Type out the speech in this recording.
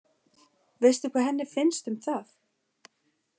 Veistu hvað henni fannst um það?